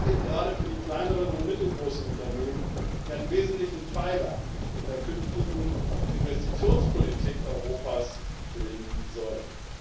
Das gilt gerade für die kleineren und die mittelgroßen Unternehmen, die einen wesentlichen Pfeiler in der künftigen Investitionspolitik Europas bilden sollen.